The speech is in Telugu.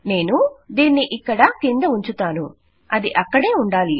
నేను దీనిని ఇక్కడ కింద ఉంచుతాను అది అక్కడే ఉండాలి